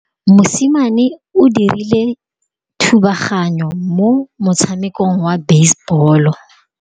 Mosimane o dirile thubaganyô mo motshamekong wa basebôlô.